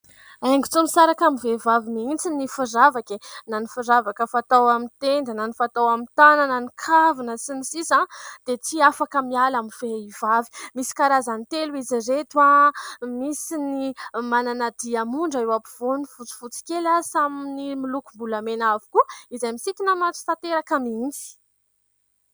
Haingo tsy misaraka amin'ny vehivavy mihitsy ny firavaka e ! Na ny firavaka fatao amin'ny tenda na ny fatao amin'ny tànana, ny kavina sy ny sisa dia tsy afaka miala amin'ny vehivavy. Misy karazany telo izy ireto : misy ny manana diamondra eo ampovoany fotsifotsy kely, samy milokom-bolamena avokoa izay misintona maso tanteraka mihitsy.